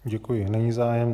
Děkuji, není zájem.